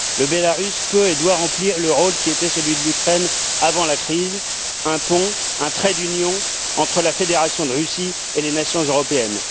La Biélorussie peut et doit remplir le rôle qui était celui de l'Ukraine avant la crise un pont, un trait d'union entre la Fédération de Russie et les nations européennes.